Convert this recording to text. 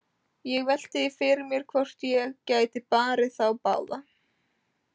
Ég velti því fyrir mér hvort ég gæti barið þá báða.